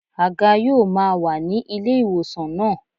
Àga yóò máa wà ní ilé ìwòsàn náà.